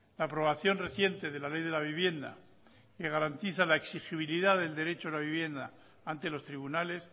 la aprobación reciente de la ley de la vivienda que garantiza la exigibilidad del derecho a la vivienda ante los tribunales